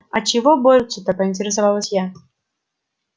а чего борются-то поинтересовалась я